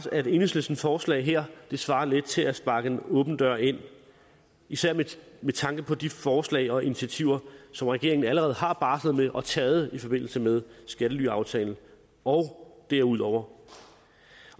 at enhedslistens forslag her svarer lidt til at sparke en åben dør ind især med tanke på de forslag og initiativer som regeringen allerede har barslet med og taget i forbindelse med skattelyaftalen og derudover